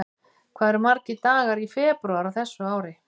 Hvað eru margir dagar í febrúar á þessu ári?